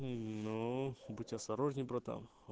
ну будь осторожней братан